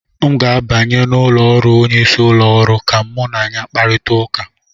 M ga-abanye n'ụlọ ọrụ onyeisi ụlọ ọrụ ka mụ na ya kparịta ụka